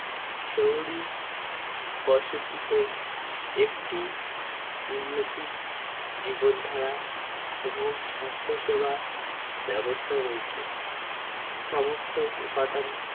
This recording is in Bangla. শহরী বাসতিতে একটি উন্নতি জীবনধারা এবং স্বাস্থ্য সেবা ব্যবস্থা রয়েছে সমস্ত উপাদান